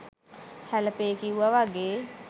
හැලපේ කිව්ව වගේ